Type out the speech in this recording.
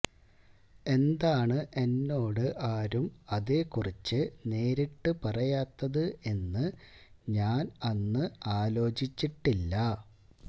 എന്താണ് എന്നോട് ആരും അതെകുറിച്ച് നേരിട്ട് പറയാത്തത് എന്ന് ഞാന് അന്ന് അലോചിച്ചിട്ടില്ല